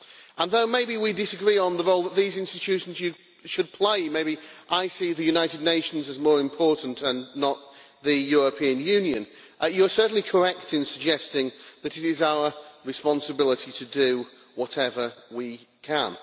And though maybe you and I disagree on the role that these institutions should play maybe I see the United Nations as more important than the European Union you are certainly correct in suggesting that it is our responsibility to do whatever we can.